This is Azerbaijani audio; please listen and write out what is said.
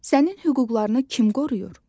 Sənin hüquqlarını kim qoruyur?